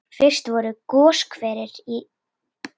Fyrst voru goshverir í